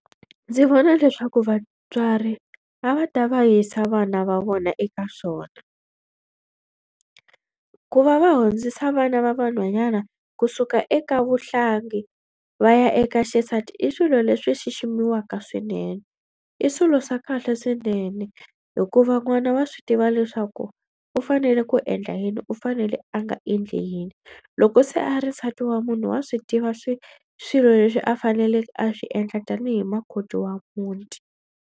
Ndzi vona leswaku vatswari a va ta va yisa vana va vona eka xona. Ku va va hundzisa vana va vanhwanyana kusuka eka vuhlangi va ya eka xisati i swilo leswi xiximiwaka swinene. I swilo swa kahle swinene hikuva n'wana wa swi tiva leswaku u fanele ku endla yini u fanele a nga endli yini. Loko se a ri nsati wa munhu wa swi tiva swi swilo leswi a faneleke a swi endla tanihi makoti wa muti.